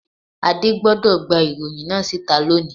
Adé gbodò gbé ìròyìn náà síta loni